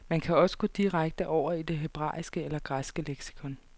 Man kan også gå direkte over i det hebraiske eller græske leksikon.